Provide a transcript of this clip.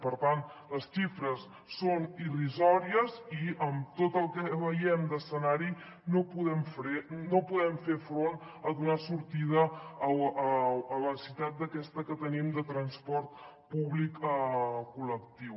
per tant les xifres són irrisòries i amb tot el que veiem d’escenari no podem fer front a donar sortida a la necessitat aquesta que tenim de transport públic col·lectiu